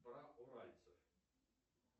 уральцы